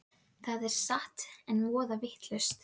Andri reyndi að brosa og horfa fram hjá byssuhlaupinu.